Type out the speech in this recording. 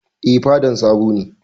Eh, fedan sabo ne